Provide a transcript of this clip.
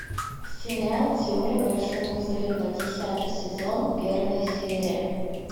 сериал теория большого взрыва десятый сезон первая серия